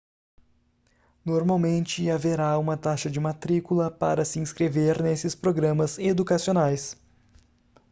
normalmente haverá uma taxa de matrícula para se inscrever nesses programas educacionais